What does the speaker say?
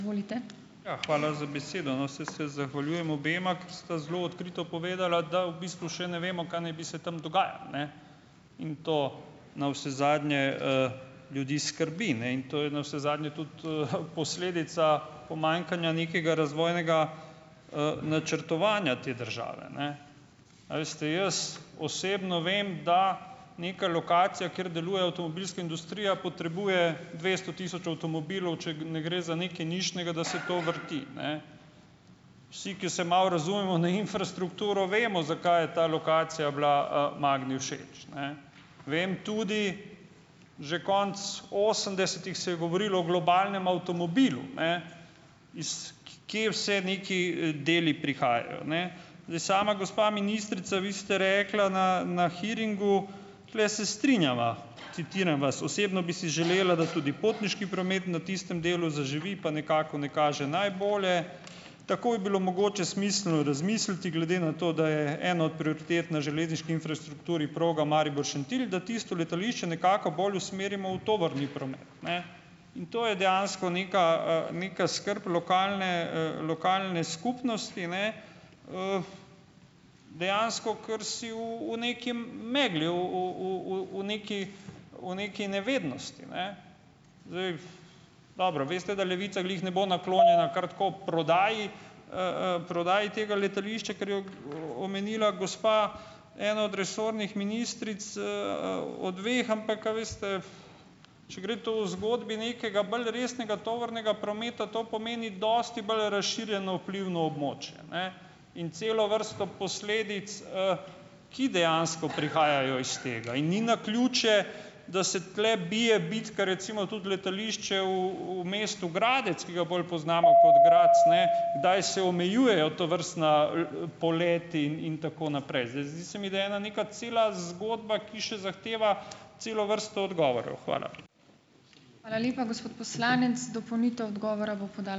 Ja, hvala za besedo. No, saj se zahvaljujem obema, ker sta zelo odkrito povedala, da v bistvu še ne vemo, kaj naj bi se tam dogajalo, ne. In to navsezadnje, ljudi skrbi, ne. In to je navsezadnje tudi, posledica pomanjkanja nekega razvojnega, načrtovanja te države, ne. A veste jaz osebno vem, da neka lokacija, kjer deluje avtomobilska industrija potrebuje dvesto tisoč avtomobilov, če ne gre za nekaj nišnega, da se to vrti, ne. Vsi, ki se malo razumemo na infrastrukturo, vemo, zakaj je ta lokacija bila, Magni všeč, ne. Vem tudi, že konec osemdesetih se je govorilo o globalnem avtomobilu, ne, iz k kje vse neki, deli prihajajo, ne. Zdaj, sama, gospa ministrica, vi ste rekla na na hearingu, tule se strinjava, citiram vas, "osebno bi si želela, da tudi potniški promet na tistem delu zaživi, pa nekako ne kaže najbolje. Tako je bilo mogoče smiselno razmisliti, glede na to, da je ena od prioritet na železniški infrastrukturi proga Maribor-Šentilj, da tisto letališče nekako bolj usmerimo v tovorni promet." Ne. In to je dejansko neka, neka skrb lokalne, lokalne skupnosti, ne. Dejansko, kar si v v neki megli, v v v v v neki v neki nevednosti, ne. Zdaj, dobro, veste, da Levica glih ne bo naklonjena kar tako prodaji, prodaji tega letališča, ker je omenila gospa ena od resornih ministric, od dveh, ampak a veste, če gre to v zgodbi nekega bolj resnega tovornega prometa, to pomeni dosti bolj razširjeno vplivno območje, ne. In celo vrsto posledic, ki dejansko prihajajo iz tega. In ni naključje, da se tule bije bitka, recimo, tudi letališče v v mestu Gradec, ki ga bolj poznamo kot Graz, ne, kdaj se omejujejo tovrstna, poleti in in tako naprej. Zdaj, zdi se mi, da je ena neka cela zgodba, ki še zahteva celo vrsto odgovorov. Hvala.